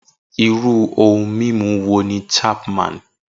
Irú ohun mímu wo ni Chapman?